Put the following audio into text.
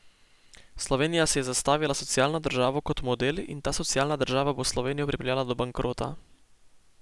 Slovenija si je zastavila socialno državo kot model in ta socialna država bo Slovenijo pripeljala do bankrota.